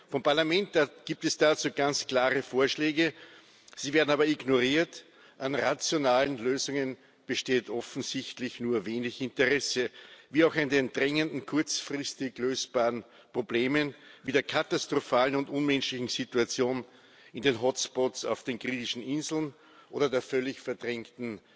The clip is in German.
Vom Parlament gibt es dazu ganz klare Vorschläge, sie werden aber ignoriert. An rationalen Lösungen besteht offensichtlich nur wenig Interesse, wie auch an den drängenden kurzfristig lösbaren Problemen, wie der katastrophalen und unmenschlichen Situationen in den Hotspots auf den griechischen Inseln oder der völlig verdrängten